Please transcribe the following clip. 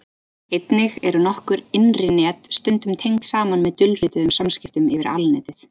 Einnig eru nokkur innri net stundum tengd saman með dulrituðum samskiptum yfir Alnetið.